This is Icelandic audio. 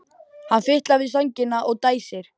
Hann fitlar við sængina og dæsir.